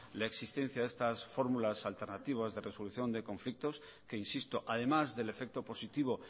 la existencia de estas fórmulas alternativas de resolución de conflictos que insisto además del efecto positivo